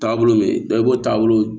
Taabolo min bɛ ye i b'o taabolo